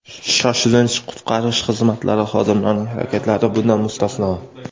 shoshilinch qutqarish xizmatlari xodimlarining harakatlari bundan mustasno.